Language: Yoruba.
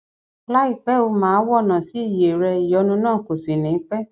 láìpẹ o máa wọnà sí iye rẹ ìyónú náà kò sì ní pẹ